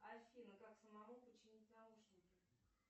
афина как самому починить наушники